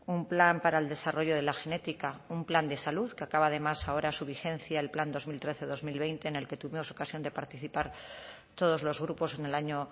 un plan para el desarrollo de la genética un plan de salud que acaba además ahora su vigencia el plan dos mil trece dos mil veinte en el que tuvimos ocasión de participar todos los grupos en el año